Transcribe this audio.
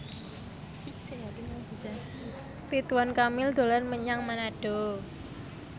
Ridwan Kamil dolan menyang Manado